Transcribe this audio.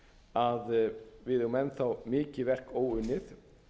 að við eigum enn þá með verk óunnið